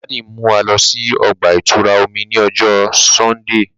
Daddy n mú wà lọ sí ọgba-itura omí ni ọjọ Sundee